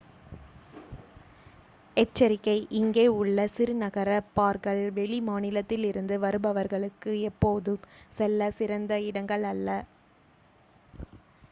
எச்சரிக்கை இங்கே உள்ள சிறு நகர பார்கள் வெளி மாநிலத்திலிருந்து வருபவர்களுக்கு எப்போதும் செல்லச் சிறந்த இடங்கள் அல்ல